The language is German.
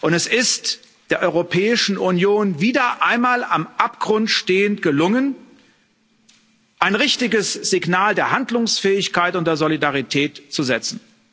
Es ist der Europäischen Union wieder einmal am Abgrund stehend gelungen, ein richtiges Signal der Handlungsfähigkeit und der Solidarität zu setzen.